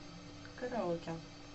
караоке